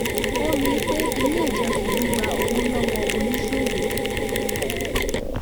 ó rí i pé ilé ìjọsìn ń gbà owó lọ́wọ́ oníṣòwò